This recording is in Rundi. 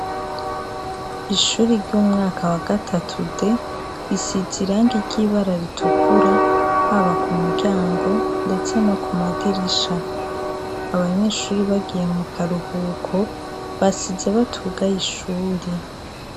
ishuri ry'umwaka wa gatatu de risize irangi iry'ibara ritukura haba ku muryango ndetse no ku madirisha abanyeshuri bagiye mu karuhuko basidze batuga ishuri